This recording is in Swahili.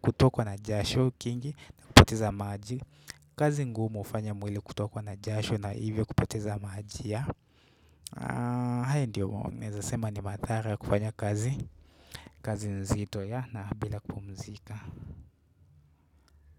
kutokwa na jasho kingi na kupoteza maji kazi ngumu hufanya mwili kutokwa na jasho na hivyo kupoteza maji ya hayo ndio naeza sema ni madhara ya kufanya kazi kazi nzito ya na bila kumzika.